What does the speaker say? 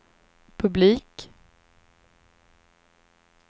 publik